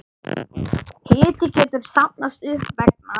Hiti getur safnast upp vegna